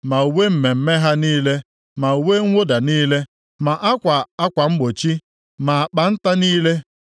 ma uwe mmemme ha niile ma uwe mwụda niile, ma akwa akwa mgbochi, ma akpa nta niile,